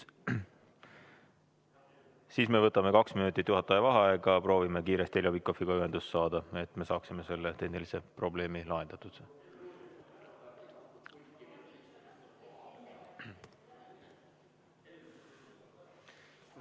Siis me võtame kaks minutit juhataja vaheaega ja proovime kiiresti Heljo Pikhofiga ühendust saada, et me saaksime selle tehnilise probleemi lahendatud.